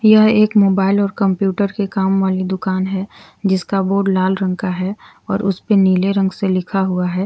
यह एक मोबाइल और कंप्यूटर के काम वाली दुकान है जिसका बोर्ड लाल रंग का है और उस पे नीले रंग से लिखा हुआ है।